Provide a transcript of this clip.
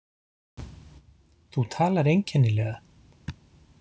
Þú talar einkennilega.